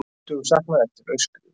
Tuttugu saknað eftir aurskriðu